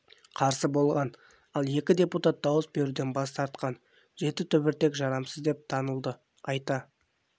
қарсы болған ал екі депутат дауыс беруден бас тартқан жеті түбіртек жарамсыз деп танылды айта